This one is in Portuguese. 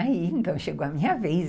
Aí, então, chegou a minha vez.